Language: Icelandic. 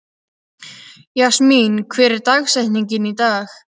Jasmín, hver er dagsetningin í dag?